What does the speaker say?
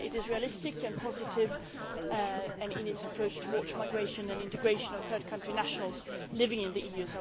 It is realistic and positive in its approach towards the migration and integration of third country nationals living in the EU.